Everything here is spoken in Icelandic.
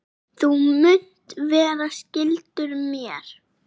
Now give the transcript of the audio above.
Þú munt vera skyldur mér.